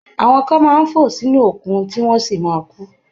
Àwọn kan máa ń fò sínú òkun, tí wọ́n sì ma kú.